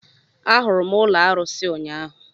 Ahụrụ m ụlọ arusi ụnyaahụ